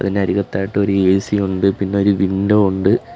അതിന് അരികത്തായിട്ട് ഒരു എ_സി ഉണ്ട് പിന്നെ ഒരു വിൻഡോ യുണ്ട്.